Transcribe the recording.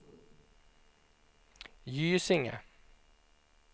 Gysinge